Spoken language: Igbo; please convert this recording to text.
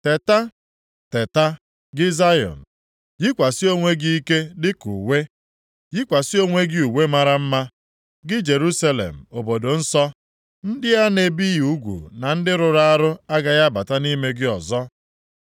Teta, teta gị Zayọn, yikwasị onwe gị ike dịka uwe! Yikwasị onwe gị uwe mara mma, gị Jerusalem, obodo dị nsọ. Ndị a na-ebighị ugwu na ndị rụrụ arụ agaghị abata nʼime gị ọzọ.